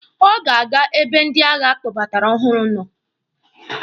Ọ ga-aga ebe ndị agha a kpọbatara ọhụrụ nọ.